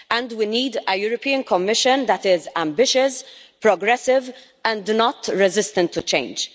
We need a European Commission that is ambitious, progressive and not resistant to change.